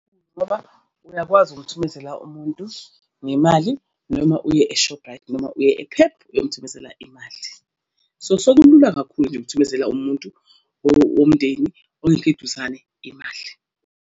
Ngoba uyakwazi ukumthumezela umuntu ngemali, noma uye e-Shoprite noma uye e-Pep uyomuthumezela imali. So, sekulula kakhulu nje ukuthumezela umuntu owomndeni ongekho eduzane imali.